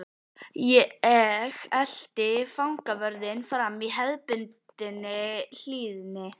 Ég elti fangavörðinn fram í hefðbundinni hlýðni.